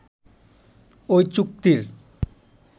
ওই চুক্তির